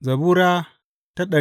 Zabura Sura